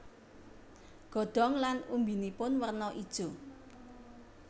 Godhong lan umbinipun werno ijo